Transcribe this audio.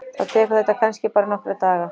Þá tekur þetta kannski bara nokkra daga.